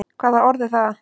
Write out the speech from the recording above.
Hvaða orð er það?